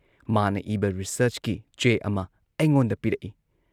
ꯃꯥꯅ ꯏꯕ ꯔꯤꯁꯥꯔꯆꯀꯤ ꯆꯦ ꯑꯃ ꯑꯩꯉꯣꯟꯗ ꯄꯤꯔꯛꯏ ꯫